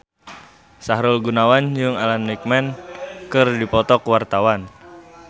Sahrul Gunawan jeung Alan Rickman keur dipoto ku wartawan